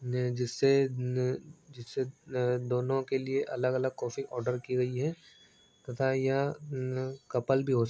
जिससे जिससे दोनों के लिए अलग अलग कॉफ़ी आर्डर की गई है तथा यह कपल भी हो --